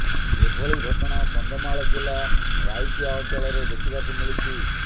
ଏଭଳି ଘଟଣା କନ୍ଧମାଳ ଜିଲ୍ଲା ରାଇକିଆ ଅଞ୍ଚଳରେ ଦେଖିବାକୁ ମିଳିଛି